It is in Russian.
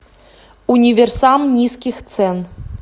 универсам низких цен